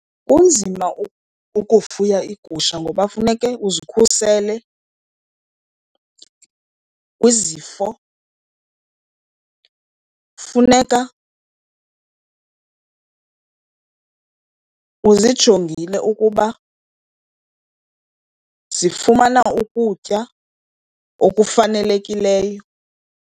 Kunzima ukufuya iigusha ngoba funeke uzikhusele kwizifo, funeka uzijongile ukuba zifumana ukutya okufanelekileyo.